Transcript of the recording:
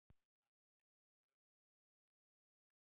Hann er með mjög beittar tennur.